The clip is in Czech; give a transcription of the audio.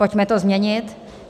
Pojďme to změnit.